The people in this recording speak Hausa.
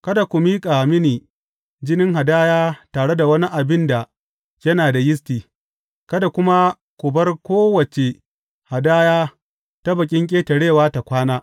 Kada ku miƙa mini jinin hadaya tare da wani abin da yana da yisti, kada kuma ku bar kowace hadaya ta Bikin Ƙetarewa ta kwana.